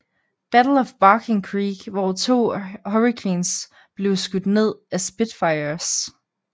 Battle of Barking Creek hvor to Hurricanes blev skudt ned af Spitfires